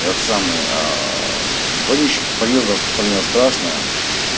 это самое вонища по подъезду распространялась страшная